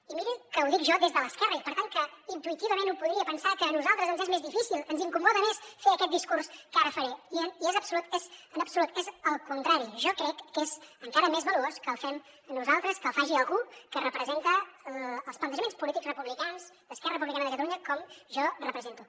i mirin que ho dic jo des de l’esquerra i per tant intuïtivament un podria pensar que a nosaltres ens és més difícil que ens incomoda més fer aquest discurs que ara faré i en absolut és el contrari jo crec que és encara més valuós que el fem nosaltres que el faci algú que representa els plantejaments polítics republicans d’esquerra republicana de catalunya com jo represento